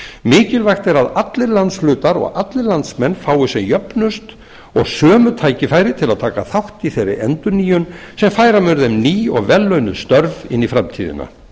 mikilvægt er að allir landshlutar og allir landsmenn hafi sem jöfnust og sömu tækifæri til að taka þátt í þeirri endurnýjun sem færa mun þeim ný og vellaunuð störf inn í framtíðina